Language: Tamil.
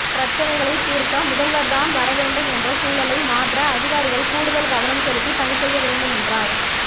பிரச்னைகளைத் தீர்க்க முதல்வர்தான் வரவேண்டும் என்ற சூழலை மாற்ற அதிகாரிகள் கூடுதல் கவனம் செலுத்தி பணி செய்ய வேண்டும் என்றார்